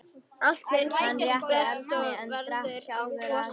Allt er eins og best verður á kosið.